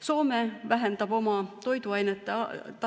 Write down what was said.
Soome vähendab oma toiduainete.